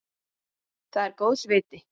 Það er góðs viti.